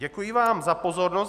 Děkuji vám za pozornost.